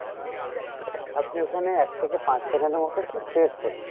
আপনি ওখানে এক থেকে পাঁচ second এর মতো একটু press করুন